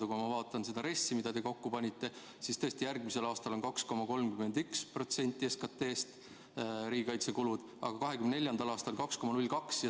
Aga kui ma vaatan RES-i, mille te kokku panite, siis näen, et tõesti, järgmisel aastal on riigikaitsekulud 2,31% SKT-st, aga 2024. aastal on need 2,02%.